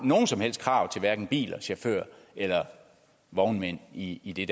nogen som helst krav til hverken biler chauffører eller vognmænd i i det